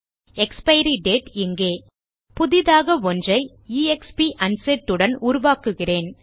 expiry date இங்கே புதிதாக ஒன்றை எக்ஸ்ப் அன்செட் உடன் உருவாக்குகிறேன்